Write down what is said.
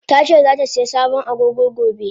Tace zatasai sabon Agogo gobe.